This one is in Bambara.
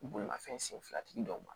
Bolimafɛn senfilatigi dɔw ma